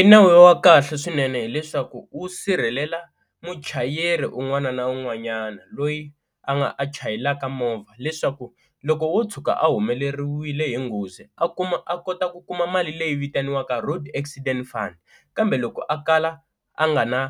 I nawu wa kahle swinene hileswaku wu sirhelela muchayeri un'wana na un'wanyana loyi a nga a chayelaka movha leswaku loko wo tshuka a humeleriwile hi nghozi, a kuma a kota ku kuma mali leyi vitaniwaka road accident fund, kambe loko a kala a nga na